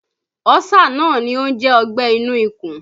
Ọ́sà náà ni ó ń jẹ́ ọgbẹ́ inú ikùn